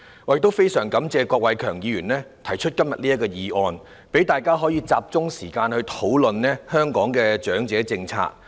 我也非常感謝郭偉强議員今天提出這項議案，讓大家集中討論香港的長者政策。